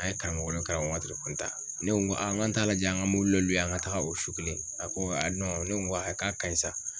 An ye karamɔgɔ wele karamɔgɔ ma ta ne ko a n k'an t'a lajɛ an ka dɔ an ka taga o su kelen a ko ne ko a k'a ka ɲi sa.